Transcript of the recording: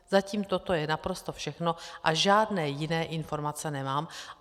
Zatím toto je naprosto všechno a žádné jiné informace nemám.